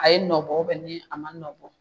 A ye nɔ bɔ u bɛ ni a ma nɔ bɔ